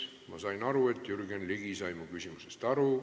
Ma sain aru, et Jürgen Ligi sai mu küsimusest aru.